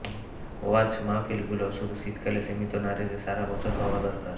ওয়াজ মাহফিলগুলো শুধু শীতকালে সীমিত না রেখে সারা বছর হওয়া দরকার